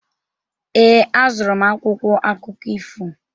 Ee, azụrụ m akwụkwọ akụkọ ifo.